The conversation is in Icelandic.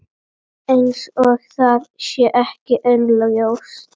Eins og það sé ekki augljóst.